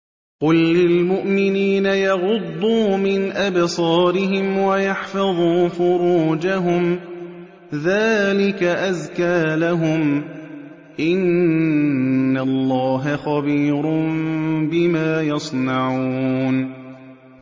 قُل لِّلْمُؤْمِنِينَ يَغُضُّوا مِنْ أَبْصَارِهِمْ وَيَحْفَظُوا فُرُوجَهُمْ ۚ ذَٰلِكَ أَزْكَىٰ لَهُمْ ۗ إِنَّ اللَّهَ خَبِيرٌ بِمَا يَصْنَعُونَ